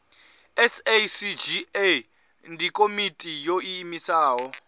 sacga ndi komiti yo iimisaho